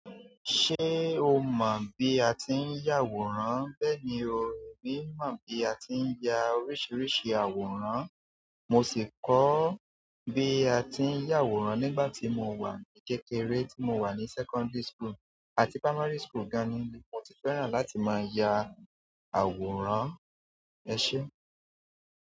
Ṣé o mọ bí a ti ń ya àwòrán? Bẹ́ẹ̀ni, mo mọ̀ bí a ti ń ya oríṣiríṣi àwòrán. Mo sì kọ́ bí a ti ń ya àwòrán nígbà tí mo wà ní kékeré, tí mo wà ní secondary school àti primary school gan-an ni mo ti fẹ́ràn láti máa ya àwòrán. Ẹ ṣé.